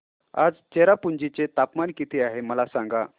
आज चेरापुंजी चे तापमान किती आहे मला सांगा